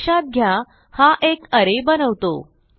लक्षात घ्या हा एक अरे बनवतो